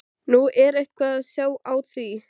Nú, er eitthvað að sjá á því?